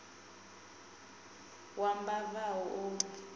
wa mbava a u orwi